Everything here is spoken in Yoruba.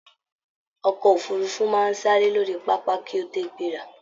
Ọkọ òfurùnfu máa n sáré lórí pápá ki o to gbera.